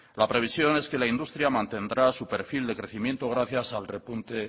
la previsión es que la industria mantendrá su perfil de crecimiento gracias al repunte